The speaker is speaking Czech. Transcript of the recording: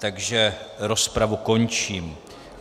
Takže rozpravu končím.